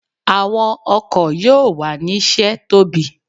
Awọn ọkọ yoo wa ni ṣe tobi